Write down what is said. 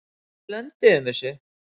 En við lönduðum þessu.